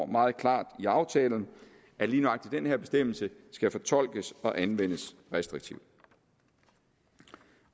meget klart i aftalen at lige nøjagtig den her bestemmelse skal fortolkes og anvendes restriktivt og